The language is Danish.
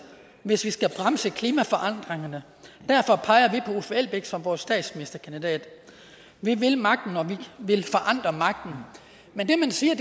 hvis vi skal bremse klimaforandringerne derfor peger vi på uffe elbæk som vores statsministerkandidat vi vil magten og vi vil forandre magten men det man siger